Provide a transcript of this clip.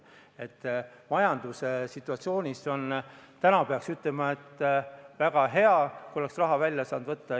Peaks ütlema, et praeguses majandussituatsioonis oleks väga hea, kui saaks raha välja võtta.